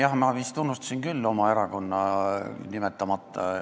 Jah, ma vist unustasin küll oma erakonna kõnes nimetamata.